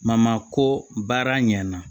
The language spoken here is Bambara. ko baara ɲɛna